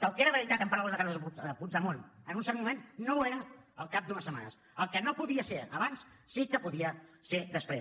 que el que era veritat en paraules de carles puigdemont en un cert moment no ho era al cap d’unes setmanes el que no podia ser abans sí que podia ser després